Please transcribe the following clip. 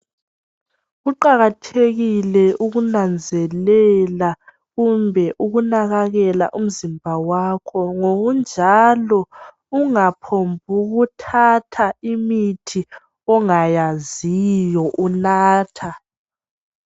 Kuqakathekile ukunanzelela kumbe ukunakakela umzimba wakho ngokunjalo ungaphongu thatha imithi ongayaziyo unatha.